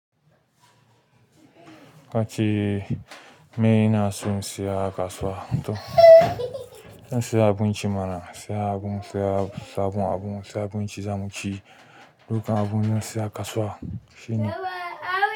Kace mai na son saya kasuwa to zan saya abinci mana, saya abun sha, sabon abun saya abinci za mu ci. Dukkan abun zan saya a kasuwa shine.